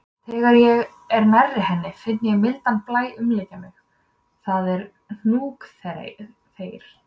Þegar ég er nærri henni finn ég mildan blæ umlykja mig, það er hnúkaþeyr.